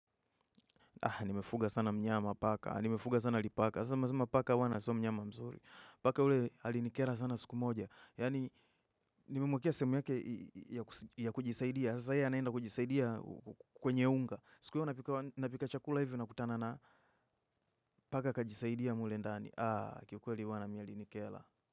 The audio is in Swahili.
Nimefuga sana mnyama paka, nimefuga sana lipaka. Sasa mmesema paka wana sio mnyama mzuri. Paka ule alinikera sana siku moja. Yaani nimemwakia sehemu yake ya kujisaidia. Sasa yeye anaenda kujisaidia kwenye unga. Siku moja napika chakula hivyo nakutana na paka kajisaidia mule ndani. Aahh kikweli wana mimi alinikera.